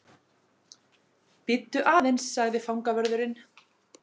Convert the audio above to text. Bíddu aðeins sagði fangavörðurinn.